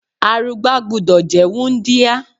Arugbá gbúdọ̀ jẹ́ wúńdíá.